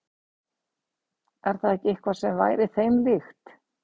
Er það ekki eitthvað sem væri þeim líkt?